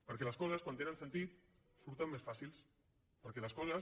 perquè les coses quan tenen sentit surten més fàcils perquè les coses